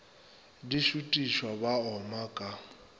di šutiša ba oma ka